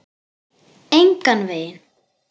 Engan veginn